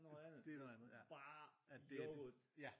Det er noget andet ja det ja